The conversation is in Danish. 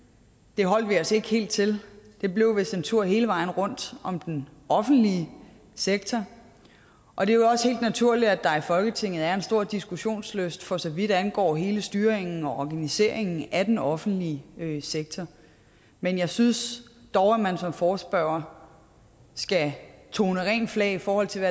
det holdt vi os ikke helt til det blev vist en tur hele vejen rundt om den offentlige sektor og det er jo også helt naturligt at der i folketinget er en stor diskussionslyst for så vidt angår hele styringen og organiseringen af den offentlige sektor men jeg synes dog at man som forespørger skal tone rent flag i forhold til